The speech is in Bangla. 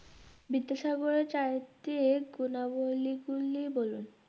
বিদ্যাসাগরের চারিত্রিক গুণাবলী গুলো বলুন।